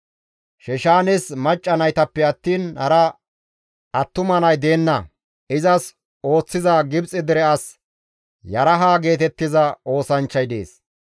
Sheshaanes macca naytappe attiin hara attuma nay deenna; izas ooththiza Gibxe dere as Yaraha geetettiza oosanchchay dees.